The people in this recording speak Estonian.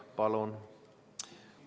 Palun!